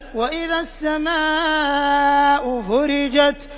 وَإِذَا السَّمَاءُ فُرِجَتْ